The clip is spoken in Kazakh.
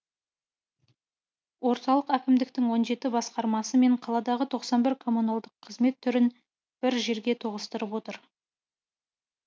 орталық әкімдіктің он жеті басқармасы мен қаладағы тоқсан бір коммуналдық қызмет түрін бір жерге тоғыстырып отыр